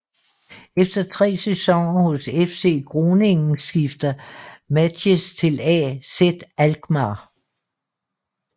Efter 3 sæsoner hos FC Groningen skifter Matthijs til AZ Alkmaar